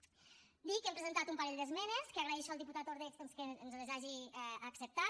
dir que hem presentat un parell d’esmenes que agraeixo al diputat ordeig doncs que ens les hagi acceptat